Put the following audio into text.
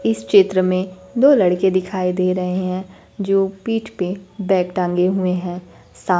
इस चित्र में दो लड़के दिखाई दे रहे हैं जो पीठ पे बैग टांगे हुए हैं सा--